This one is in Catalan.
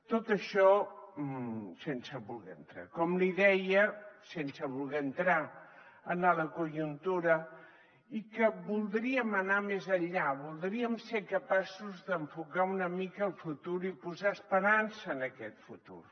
tot això sense voler entrar com li deia en la conjuntura i que voldríem anar més enllà voldríem ser capaços d’enfocar una mica el futur i posar esperança en aquest futur